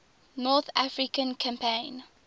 north african campaign